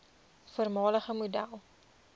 voormalige model